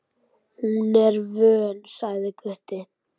Hún er vön, sagði Gutti.